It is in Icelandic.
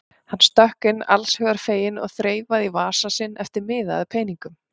Hann stökk inn allshugar feginn og þreifaði í vasa sinn eftir miða eða peningum.